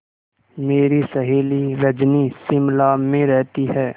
मेरी सहेली रजनी शिमला में रहती है